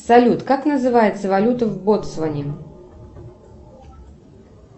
салют как называется валюта в боцване